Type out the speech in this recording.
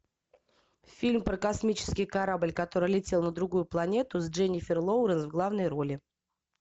фильм про космический корабль который летел на другую планету с дженнифер лоуренс в главной роли